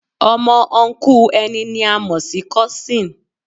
Ọmọ Ọnkú ẹni ni a mo si Kósìn